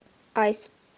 айс